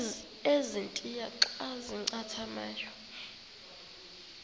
ezintia xa zincathamayo